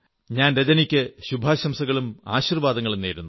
ഞാൻ രജനിക്കു ശുഭാശംസകളും ആശീർവാദങ്ങളും നേരുന്നു